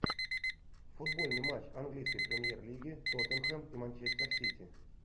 футбольный матч английской премьер лиги тоттенхэм и манчестер сити